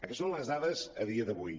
aquestes són les dades a dia d’avui